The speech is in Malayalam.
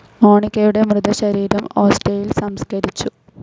മോണിക്കയുടെ മൃതശരീരം ഓസ്റ്റിയായിൽ സംസ്കരിച്ചു.